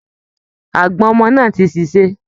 Àgbọ̀n ọmọ náà ti ṣèṣe